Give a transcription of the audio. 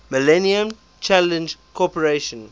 millennium challenge corporation